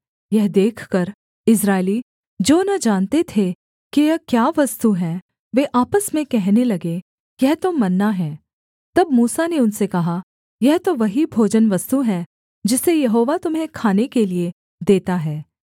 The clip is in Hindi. यह देखकर इस्राएली जो न जानते थे कि यह क्या वस्तु है वे आपस में कहने लगे यह तो मन्ना है तब मूसा ने उनसे कहा यह तो वही भोजनवस्तु है जिसे यहोवा तुम्हें खाने के लिये देता है